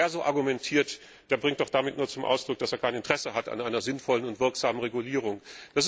Wer so argumentiert, bringt doch damit nur zum Ausdruck, dass er kein Interesse an einer sinnvollen und wirksamen Regulierung hat.